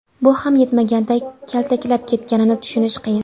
Bu ham yetmaganday, kaltaklab ketganini tushunish qiyin.